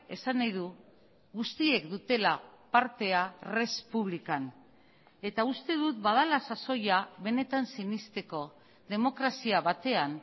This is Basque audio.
esan nahi du guztiek dutela partea res publican eta uste dut badela sasoia benetan sinesteko demokrazia batean